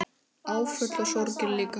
Áföll og sorgir líka.